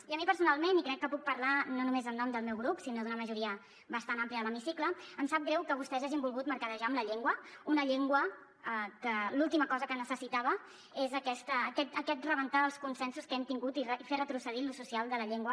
i a mi personalment i crec que puc parlar no només en nom del meu grup sinó d’una majoria bastant àmplia de l’hemicicle em sap greu que vostès hagin volgut mercadejar amb la llengua una llengua que l’última cosa que necessitava és aquest rebentar els consensos que hem tingut i fer retrocedir l’ús social de la llengua